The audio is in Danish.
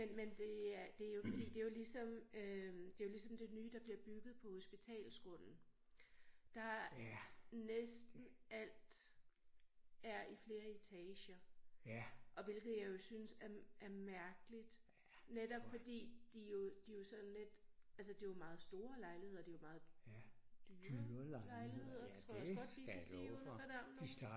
Men men det er det jo fordi det jo ligesom øh det jo ligesom det nye der bliver bygget på hospitalsgrunden der næsten alt er i flere etager og hvilket jeg jo synes er mærkeligt netop fordi de jo de jo sådan lidt altså det jo meget store lejligheder det jo meget dyre lejligheder tror jeg også godt vi kan sige uden at fornærme nogen